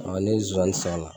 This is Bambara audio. ne ye zonzannin san o la,